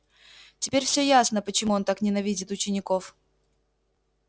теперь все ясно почему он так ненавидит учеников